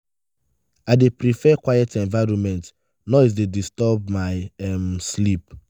i dey prefer quiet environment; noise dey disturb my um sleep.